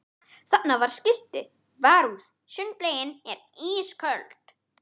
Þarna var skilti: Varúð sundlaugin er ísköld